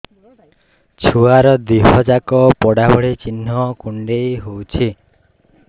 ଛୁଆର ଦିହ ଯାକ ପୋଡା ଭଳି ଚି଼ହ୍ନ କୁଣ୍ଡେଇ ହଉଛି